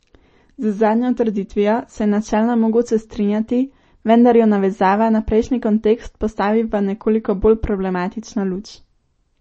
Z zadnjo trditvijo se je načelno mogoče strinjati, vendar jo navezava na prejšnji kontekst postavi v nekoliko bolj problematično luč.